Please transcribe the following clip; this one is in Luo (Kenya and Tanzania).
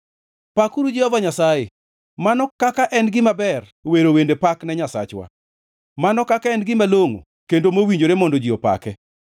Pakuru Jehova Nyasaye! Mano kaka en gima ber wero wende pak ne Nyasachwa, mano kaka en gima longʼo kendo mowinjore mondo ji opake!